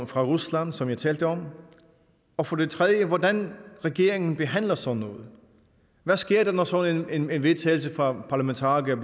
fra rusland som jeg talte om og for det tredje hvordan regeringen behandler sådan noget hvad sker der når sådan en vedtagelse fra parlamentarikere